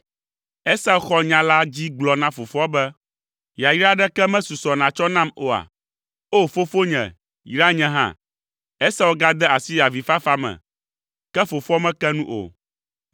Esau xɔ nya la dzi gblɔ na fofoa be, “Yayra aɖeke mesusɔ nàtsɔ nam oa? Oo, fofonye yra nye hã!” Esau gade asi avifafa me, ke fofoa meke nu o.